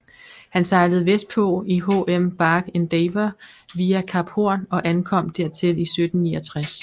Han sejlede vestpå i HM Bark Endeavour via Kap Horn og ankom dertil i 1769